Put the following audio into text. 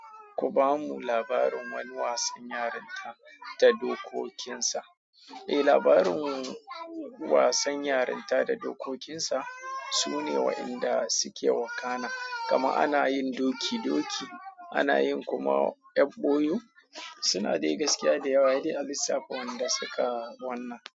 Ku bamu labarin wani wasan yarinta da dokokinsa. Labarin wasan yarinta da dokokinsa sune wadanda suke wakana kama ana yin doki doki, ana yin kuma F o U. Suna dai gaskiya da yawa ne a lissafin wanda suka wanna.